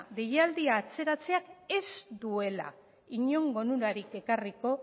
deialdia atzeratzeak ez duela inongo onurarik ekarriko